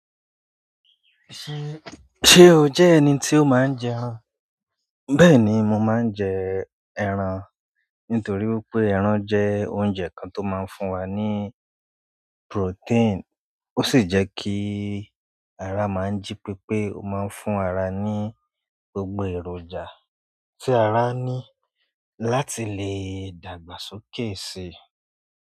Ṣé, ṣé o jẹ́ ẹni tí ó máa ń jẹ ẹran? Bẹ́ẹ̀ni, mo máa ń jẹ ẹran nítorí wípé ẹran jẹ́ oúnjẹ kan tó máa ń fún wa ní protein. Ó sì jẹ́ kí ara máa ń jí pépé. Ó máa ń fún ara ní gbogbo èròjà tí ara ní láti lè dàgbà sókè síi.